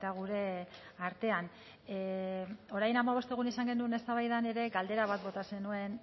gure artean orain hamabost egun izan genuen eztabaidan ere galdera bat bota zenuen